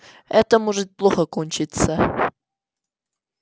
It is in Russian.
это может плохо кончиться